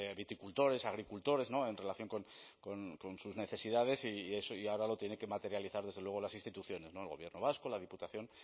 viticultores agricultores en relación con sus necesidades y ahora lo tienen que materializar desde luego las instituciones el gobierno vasco la diputación